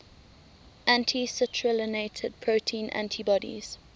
anti citrullinated protein antibodies